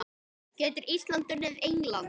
Getur Ísland unnið England?